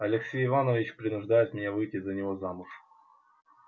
алексей иванович принуждает меня выйти за него замуж